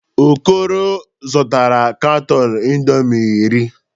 Okoro zụtara katọn indọmii iri.